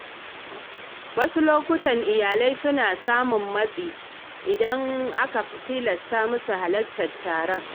Wasu lokuta iyalai suna samun matsin lamba idan aka tilasta musu halartar biki.